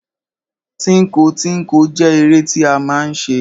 Tínko tínko jẹ́ eré tí a máa ń ṣe.